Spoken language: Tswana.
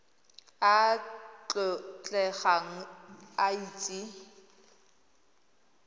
a a tlotlegang a itse